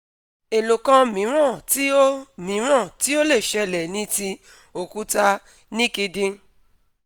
èlòkan mìíràn ti ó mìíràn ti ó lè ṣẹlẹ̀ ni ti okuta níkidin